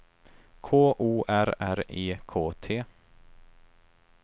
K O R R E K T